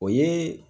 O ye